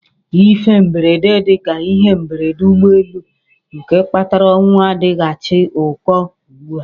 Ihe mberede dị ka ihe mberede ụgbọelu nke kpatara ọnwụ adịchaghị ụkọ ugbu a.